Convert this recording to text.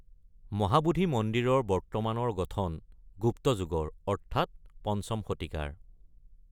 মহাবোধি মন্দিৰৰ বৰ্তমানৰ গঠন গুপ্ত যুগৰ অৰ্থাৎ ৫ম শতিকাৰ।